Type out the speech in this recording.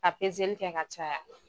A pezeli kɛ ka caya